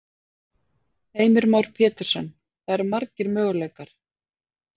Heimir Már Pétursson: Það eru margir möguleikar?